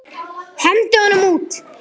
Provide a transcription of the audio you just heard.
Hendið honum út!